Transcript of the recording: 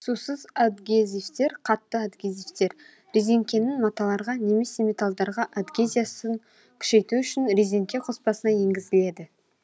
сусыз адгезивтер қатты адгезивтер резеңкенің маталарға немесе металдарға адгезиясын күшейту үшін резеңке қоспасына енгізіледі